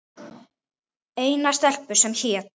Eina stelpu, sem hét